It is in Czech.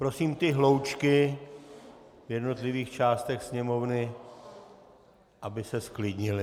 Prosím ty hloučky v jednotlivých částech Sněmovny, aby se zklidnily.